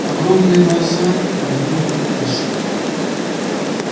огромные глаза мигнули и исчезли